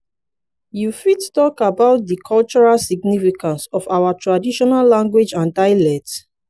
you fit talk about di cultural significance of our traditional language and dialect?